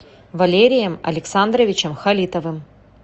валерием александровичем халитовым